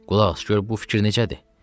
Qulaq as gör bu fikir necədir?